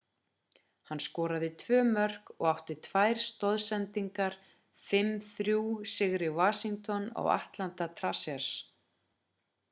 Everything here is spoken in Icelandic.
hann skoraði tvö mörk og átti tvær stoðsendingar í 5-3 sigri washington á atlanta thrashers